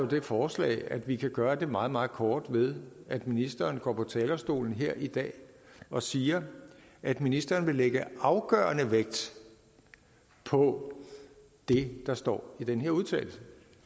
det forslag at vi kan gøre det meget meget kort ved at ministeren går på talerstolen her i dag og siger at ministeren vil lægge afgørende vægt på det der står i den her udtalelse